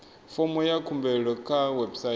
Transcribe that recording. fomo ya khumbelo kha website